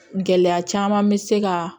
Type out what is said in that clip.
Gɛlɛya caman bɛ se ka